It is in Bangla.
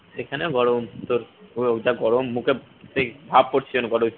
এখানে গরম তোর ও যা গরম মুখে সেই ভাপ পড়ছে যেন গরমে